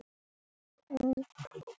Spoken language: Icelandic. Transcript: Anda, rístu á fætur.